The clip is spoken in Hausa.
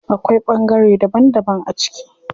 Akwai ɓangare daban daban a ciki.